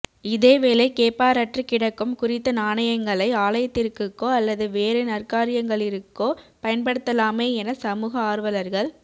இதேவேளை கேப்பாரற்று கிடக்கும் குறித்த நாணயங்களை ஆலயத்திற்குகோ அல்லது வேறு நற்காரியங்களிற்கோ பயன்படுத்தலாமே என சமூக ஆர்வலர்கள்